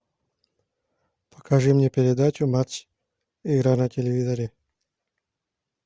покажи мне передачу матч игра на телевизоре